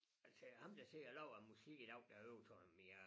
Altså ham der sidder og laver æ musik i dag derude sådan mere